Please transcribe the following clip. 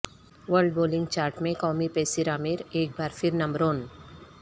world bowling chart میں قومی پیسرعامر ایک بار پھر نمبرون